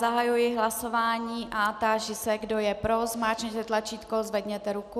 Zahajuji hlasování a táži se, kdo je pro, zmáčkněte tlačítko, zvedněte ruku.